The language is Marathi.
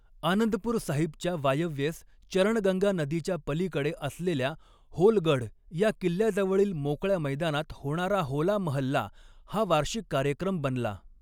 आनंदपूर साहिबच्या वायव्येस चरणगंगा नदीच्या पलीकडे असलेल्या होलगढ या किल्ल्याजवळील मोकळ्या मैदानात होणारा होला महल्ला हा वार्षिक कार्यक्रम बनला.